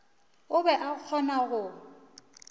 o be a kgona go